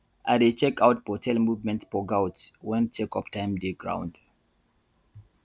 i dey check out for tail movement for goat when check up time dey ground